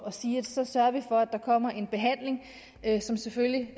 at sige at så sørger vi for at der kommer en behandling som selvfølgelig